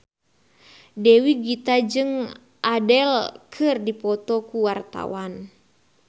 Dewi Gita jeung Adele keur dipoto ku wartawan